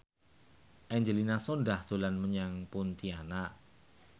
Angelina Sondakh dolan menyang Pontianak